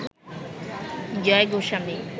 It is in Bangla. জয় গোস্বামী